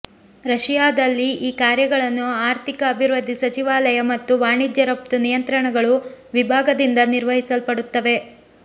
ರಶಿಯಾದಲ್ಲಿ ಈ ಕಾರ್ಯಗಳನ್ನು ಆರ್ಥಿಕ ಅಭಿವೃದ್ಧಿ ಸಚಿವಾಲಯ ಮತ್ತು ವಾಣಿಜ್ಯ ರಫ್ತು ನಿಯಂತ್ರಣಗಳು ವಿಭಾಗದಿಂದ ನಿರ್ವಹಿಸಲ್ಪಡುತ್ತವೆ